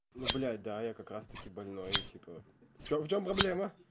ну блядь да я как раз-таки больной типа в чём в чём проблема